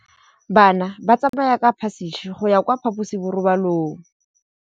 Bana ba tsamaya ka phašitshe go ya kwa phaposiborobalong.